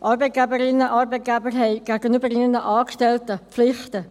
Arbeitgeberinnen und Arbeitgeber haben gegenüber ihren Angestellten Pflichten.